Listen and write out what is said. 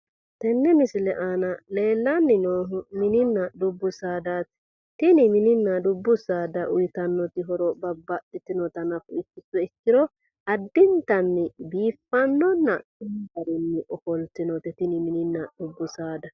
Tenne misile aana leellanni noohu mininna dubbu saadaati. Tini mininna dubbu saada uyitannoti horo babbaxxitinota nafa ikkituro addintanni biiffannonna danchu garinni ofoltinote tini mininna dubbu saada.